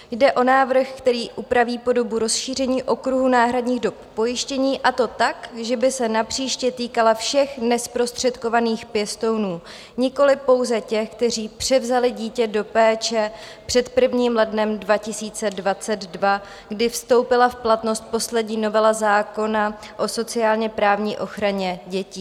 Jde o návrh, který upraví podobu rozšíření okruhu náhradních dob pojištění, a to tak, že by se napříště týkala všech nezprostředkovaných pěstounů, nikoli pouze těch, kteří převzali dítě do péče před 1. lednem 2022, kdy vstoupila v platnost poslední novela zákona o sociálně-právní ochraně dětí.